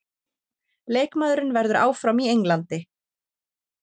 Leikmaðurinn verður áfram í Englandi